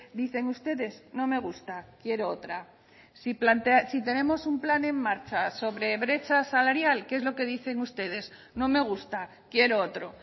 dicen ustedes no me gusta quiero otra si tenemos un plan en marcha sobre brecha salarial qué es lo que dicen ustedes no me gusta quiero otro